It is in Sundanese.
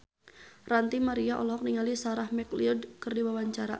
Ranty Maria olohok ningali Sarah McLeod keur diwawancara